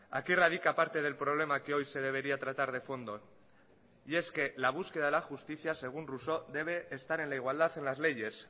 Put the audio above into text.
aquí radica parte del problema que hoy se debería tratar de fondo y es que la búsqueda de la justicia según rousseau debe estar en la igualdad de las leyes